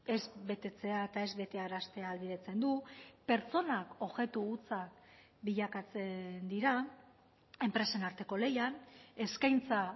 ez betetzea eta ez betearaztea ahalbidetzen du pertsonak objektu hutsa bilakatzen dira enpresen arteko lehian eskaintza